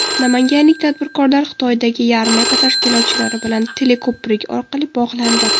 Namanganlik tadbirkorlar Xitoydagi yarmarka tashkilotchilari bilan teleko‘prik orqali bog‘landi.